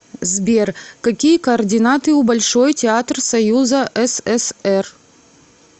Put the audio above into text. сбер какие координаты у большой театр союза сср